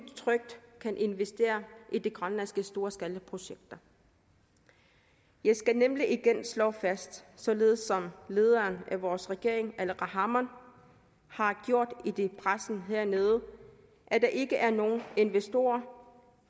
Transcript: trygt kan investere i de grønlandske storskalaprojekter jeg skal nemlig igen slå fast således som lederen af vores regering aleqa hammond har gjort det over pressen hernede at der ikke er nogen investorer